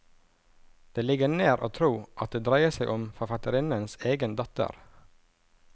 Det ligger nær å tro at det dreier seg om forfatterinnens egen datter.